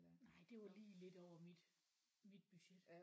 Nej det var lige lidt over mit mit budget